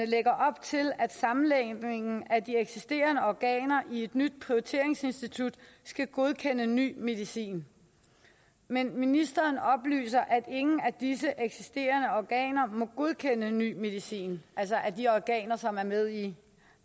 lægger op til at sammenlægningen af de eksisterende organer i et nyt prioriteringsinstitut skal godkende ny medicin men ministeren oplyser at ingen af disse eksisterende organer må godkende ny medicin altså de organer som er med i